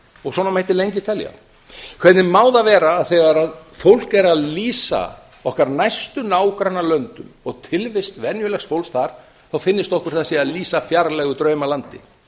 og svona mætti lengi telja hvernig má það vera að þegar fólk er að lýsa okkar næstu nágrannalöndum og tilvist venjulegs fólks þar finnist okkur sem það sé að lýsa fjarlægu draumalandi